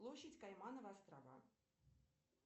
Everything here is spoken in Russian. площадь каймановы острова